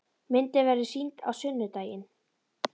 Myndin verður sýnd á sunnudaginn.